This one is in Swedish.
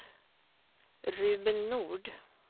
Ruben Nord